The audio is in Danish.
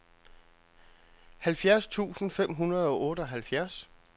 halvfjerds tusind fem hundrede og otteoghalvfjerds